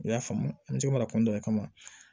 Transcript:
I y'a faamu an tɛ mara kɔnɔna